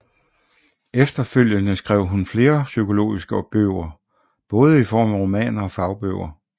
Efterfølgende skrev hun flere psykologiske bøger både i form af romaner og fagbøger